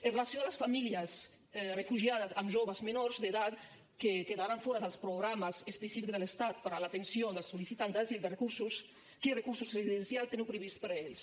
amb relació a les famílies refugiades amb joves menors d’edat que quedaran fora dels programes específics de l’estat per a l’atenció dels sol·licitants d’asil de recursos quins recursos residencials teniu previstos per a ells